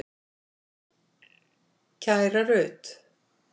Kæra Rut.